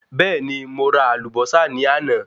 Bẹẹni, mo ra àlùbọ́sà ní àná